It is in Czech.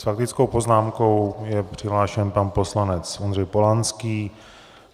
S faktickou poznámkou je přihlášen pan poslanec Ondřej Polanský.